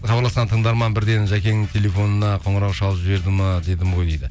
хабарласқан тыңдарман бірден жакеңнің телефонына қоңырау шалып жіберді ме дедім ғой дейді